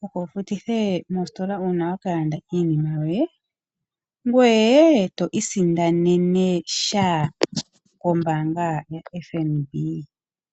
wu futithe mositola ndjoka yokulanda iinima ,ngweye to isindanene sha kombaanga oyo tuu ndjoka.